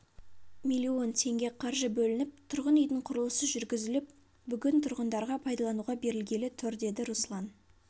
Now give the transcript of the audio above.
миллион теңге қаржы бөлініп тұрғын үйдің құрылысы жүргізіліп бүгін тұрғындарға пайдалануға берілгелі тұр деді руслан